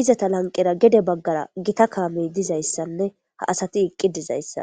izata lanqera gede baggara gita kaamey dizayssanne ha asati eqqi dizayssa